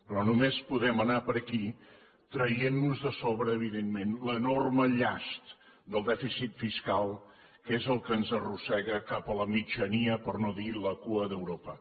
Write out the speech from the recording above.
però només podem anar per aquí traient nos de sobre evidentment l’enorme llast del dèficit fiscal que és el que ens arrossega cap a la mitjania per no dir a la cua d’europa